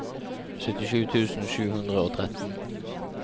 syttisju tusen sju hundre og tretten